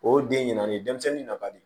O den ɲina ni denmisɛnnin nabaden